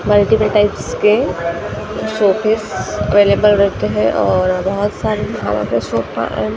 multiples type के showpiece available रखे हैं और बहोत सारे --